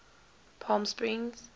palmsprings